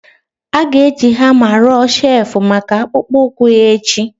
Ọ ga-eji hama rụọ chelfụ maka akpụkpọ ụkwụ ya echi.